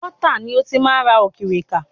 Pọtá ni ó ti máa ń ra òkìrìkà.